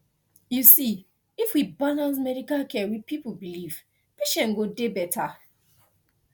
you see if we balance medical care with people belief patient go dey better